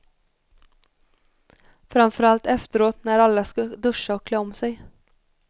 Framför allt efteråt när alla ska duscha och klä om sig.